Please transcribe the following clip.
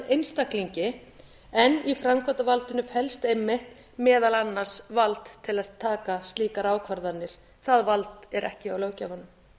einstaklingi en í framkvæmdarvaldinu felst einmitt meðal annars vald til að taka slíkar ákvarðanir það vald er ekki hjá löggjafanum